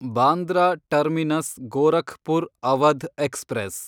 Bandra Terminus Gorakhpur Awadh express